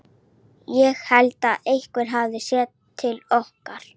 Ég held einhver hafi séð til okkar.